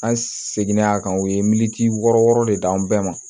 An seginna a kan u ye militi wɔɔrɔ wɔɔrɔ de da an bɛɛ ma